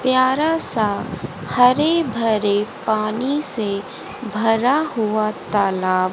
प्यारा सा हरे भरे पानी से भरा हुआ तालाब--